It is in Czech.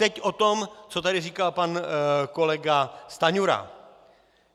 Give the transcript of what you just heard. Teď o tom, co tu říkal pan kolega Stanjura.